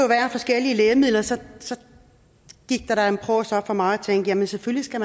være forskellige lægemidler så så gik der en prås op for mig tænkte at man selvfølgelig skal